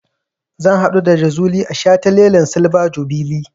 Zan haɗu da Jazuli a shataletalen silver jubilee.